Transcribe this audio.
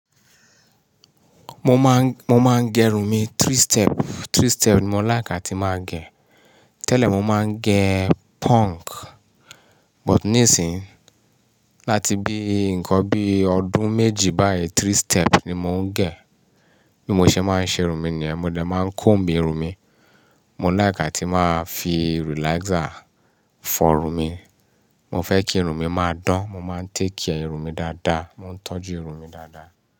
Mo máa ń, mo máa ń gẹrun mi three step, three step ni mo like atí màá gẹ. Tẹ́lẹ̀ mo máa ń gẹ punk, but nísìyí láti bí nǹkan bí ọdún méjì báyìí three step ni mò ń gẹ. Bí mo ṣe máa ń ṣe irun mi ni yẹn, mo dé máa ń comb irun mi. Mo láìk à tí màá fi relaxer fọrun mi. Mo fẹ́ kí irun mi máa dán, mo máa ń take care irun mi dáadáa, mo ń tọ́jú irun mi dáadáa.